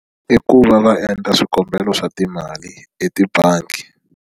I ku va va endla swikombelo swa timali etimbangi.